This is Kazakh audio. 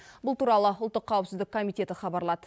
бұл туралы ұлттық қауіпсіздік комитеті хабарлады